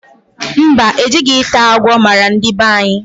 Mba, ejighi ita agwo mara ndi banyi